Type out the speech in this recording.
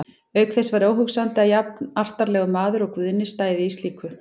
Auk þess væri óhugsandi að jafnartarlegur maður og Guðni stæði í slíku.